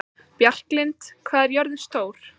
Bjarklind, hvað er jörðin stór?